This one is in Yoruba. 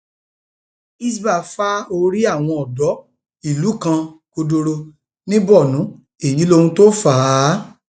hisbah fa orí àwọn odò ìlú kan kọdọrọ ní borno èyí lohun tó fà á